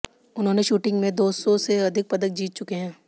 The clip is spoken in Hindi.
उन्होंने शूटिंग में दो सौ से अधिक पदक जीत चुके हैं